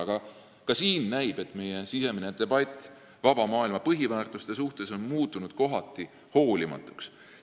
Aga ka siin näib, et meie sisemine debatt vaba maailma põhiväärtuste üle on kohati hoolimatuks muutunud.